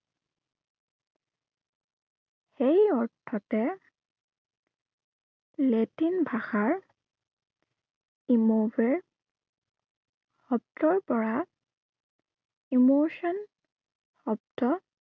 সেই অৰ্থতে লেটিন ভাষাৰ emote শব্দৰ পৰা emotion শব্দ